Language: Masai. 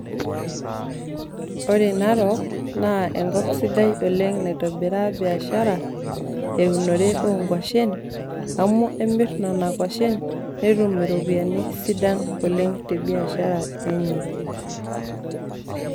ore narok naa enkop sidai oleng naitobiraa biashara. teunore oo nkuashen. amu emir nena kuashen, netum iropiyiani sidan oleng te biashara enye.